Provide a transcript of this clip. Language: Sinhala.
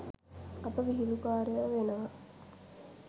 අපි විහිළුකාරයො වෙනවා